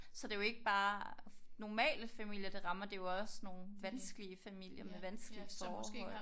Så det er jo ikke bare normale familier det rammer. Det er jo også nogle vanskelige familier med vanskelige forhold